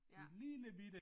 Ja